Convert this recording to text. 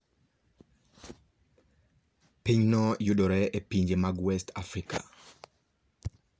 Pinyno yudore e pinje mag West Africa.